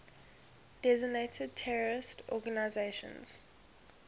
designated terrorist organizations